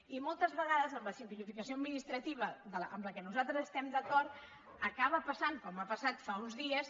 i moltes vegades amb la simplificació administrativa amb què nosaltres estem d’acord acaba passant com ha passat fa uns dies